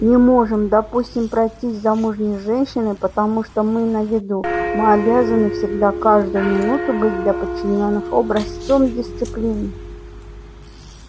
не можем допустим пройтись с замужней женщиной потому что мы на виду мы обязаны всегда каждую минуту быть для подчинённых образцом дисциплины